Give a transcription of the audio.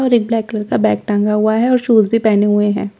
और एक black colour का बैग टंगा हुआ है और शूज भी पहने हुए हैं।